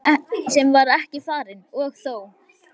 Ferð sem ekki var farin- og þó!